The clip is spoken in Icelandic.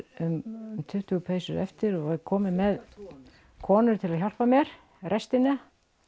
um tuttugu peysur eftir og er komin með konur til að hjálpa mér í restina